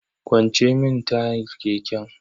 Kwance mini tayar keken.